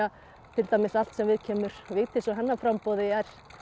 til dæmis allt sem viðkemur Vigdísi og hennar framboði er